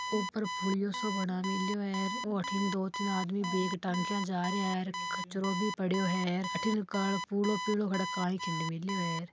ऊपर पुलियो सो बना मेळो है अथे दो तिन आदमी बैग टांगा जा रहा है कचरो भी पड्यो है अथे काल पिलो पिलो कण कई खंड मिल्यो है।